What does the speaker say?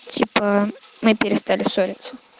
типа мы перестали ссориться